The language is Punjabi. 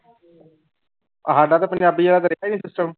ਸਾਡਾ ਤਾਂ ਪੰਜਾਬੀ ਵਾਲਾ ਤਾਂ ਰਿਹਾ ਹੀ ਨੀ system